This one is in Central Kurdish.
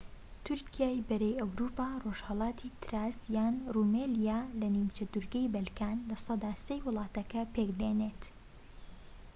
تورکیای بەری ئەوروپا ڕۆژهەلاتی تراس یان رومێلیا لە نیمچەدورگەی بەلکانسەدا ٣ ی ولاتەکە پێك دێنێت